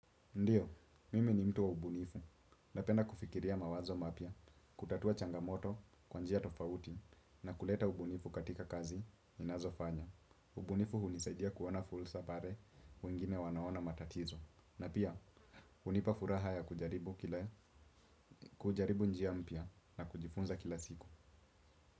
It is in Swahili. Ndio, mimi ni mtu wa ubunifu. Napenda kufikiria mawazo mapya, kutatua changamoto, kwa njia tofauti, na kuleta ubunifu katika kazi, ninazofanya. Ubunifu hunisaidia kuona fursa pare, wengine wanaona matatizo. Na pia, hunipa furaha ya kujaribu njia mpya na kujifunza kila siku.